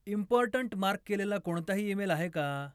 important mark केलेला कोणताही email आहे का